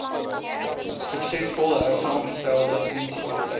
suksesvol hersaamgestelde munisipaliteite